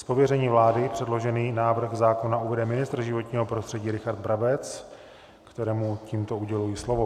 Z pověření vlády předložený návrh zákona uvede ministr životního prostředí Richard Brabec, kterému tímto uděluji slovo.